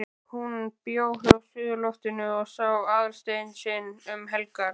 HÚN bjó á suðurloftinu og sá Aðalstein sinn um helgar.